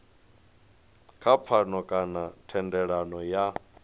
kha pfano kana thendelano ya